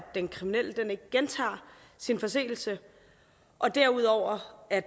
den kriminelle ikke gentager sin forseelse og derudover at